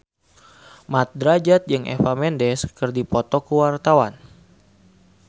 Mat Drajat jeung Eva Mendes keur dipoto ku wartawan